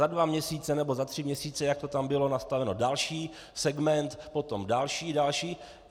Za dva měsíce nebo za tři měsíce, jak to tam bylo nastaveno, další segment, potom další, další.